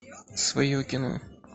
свое кино